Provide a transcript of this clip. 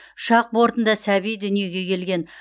ұшақ бортында сәби дүниеге келген